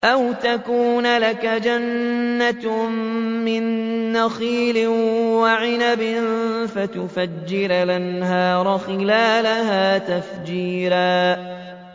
أَوْ تَكُونَ لَكَ جَنَّةٌ مِّن نَّخِيلٍ وَعِنَبٍ فَتُفَجِّرَ الْأَنْهَارَ خِلَالَهَا تَفْجِيرًا